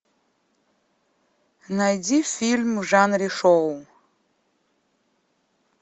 найди фильм в жанре шоу